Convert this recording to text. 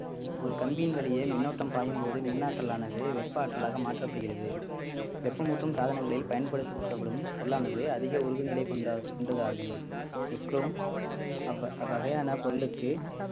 ஒரு கம்பியின் வழியே மின்னோட்டம் பாயும் போது மின்னற்றலானது வெப்ப ஆற்றலாக மாற்றப்படுகிறது வெப்பமூட்டும் சாதனங்களில் பயன்படுத்தப்படும் பொருளானது அதிக உருகுநிலை கொண்ட~ கொண்டதாகும் அவ்~ அவ்வகையான பொருளுக்கு